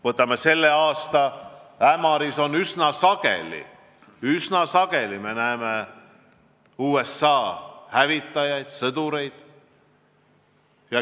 Või võtame selle aasta: Ämaris me näeme üsna sageli USA hävitajaid ja sõjaväelasi.